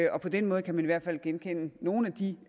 og på den måde kan man i hvert fald genkende nogle af de